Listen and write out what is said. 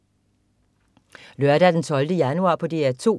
Lørdag den 12. januar - DR 2: